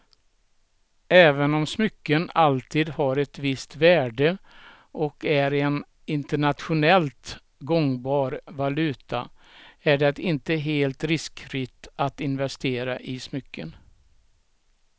Även om smycken alltid har ett visst värde och är en internationellt gångbar valuta är det inte helt riskfritt att investera i smycken.